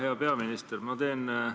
Hea peaminister!